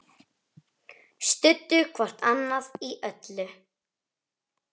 Studdu hvort annað í öllu.